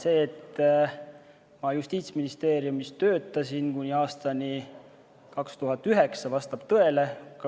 See, et ma aastani 2009 Justiitsministeeriumis töötasin, vastab tõele.